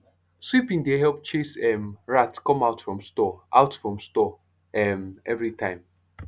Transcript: sweeping dey help chase um rat come out from store out from store um every time